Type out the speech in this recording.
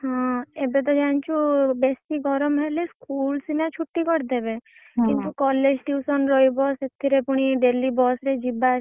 ହଁ ଏବେ ତ ଜାଣିଛୁ ବେସି ଗରମ୍ ହେଲେ school ସିନା ଛୁଟି କରିଦେବେ କିନ୍ତୁ college tuition ରହିବ ସେଥିରେ ପୁଣି daily bus ରେ ଯିବା ଆସିବା।